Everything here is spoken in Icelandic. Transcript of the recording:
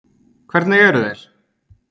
Hvernig eru þeir?